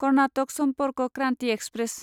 Karnataka Sampark Kranti express